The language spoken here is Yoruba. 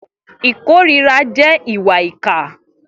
Ikórirà jè ìwà ìkà